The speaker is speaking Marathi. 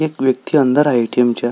एक व्यक्ति अंदर आहे ए.टी.एम. च्या.